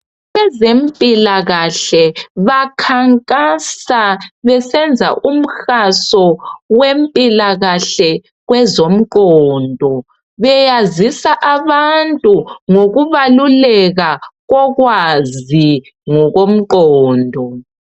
Abezempilakahle bakhankasa besenza umhaso wempilakahle kwezomqondo . Beyazisa abantu ngokubaluleka kokwazi ngokomqondo.